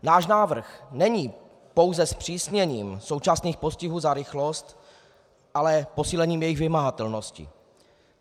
Náš návrh není pouze zpřísněním současných postihů za rychlost, ale posílením jejich vymahatelnosti.